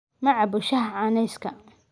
Ma cabbo shaaha caaneyska